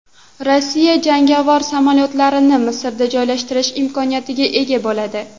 Rossiya jangovar samolyotlarini Misrda joylashtirish imkoniyatiga ega bo‘ladi.